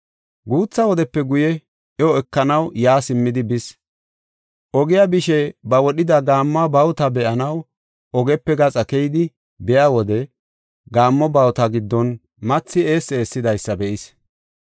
Guutha wodepe guye iyo ekanaw yaa simmidi bis. Ogiya bishe ba wodhida gaammo bawuta be7anaw ogepe gaxa keyidi biya wode gaammo bawuta giddon mathi eessi eessidaysa be7is.